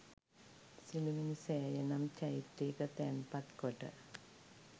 සිළුමිණිසෑය නම් චෛත්‍යයක තැන්පත් කොට